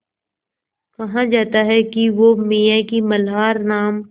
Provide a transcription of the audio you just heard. कहा जाता है कि वो मियाँ की मल्हार नाम